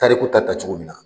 Tariku ta kɛla cogo min na.